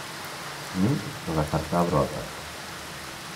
Ni ko kasartap ropta.